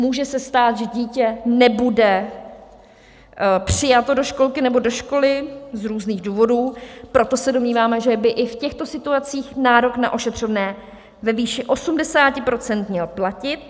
Může se stát, že dítě nebude přijato do školky nebo do školy z různých důvodů, proto se domníváme, že by i v těchto situacích nárok na ošetřovné ve výši 80 % měl platit.